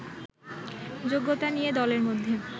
যোগ্যতা নিয়ে দলের মধ্যে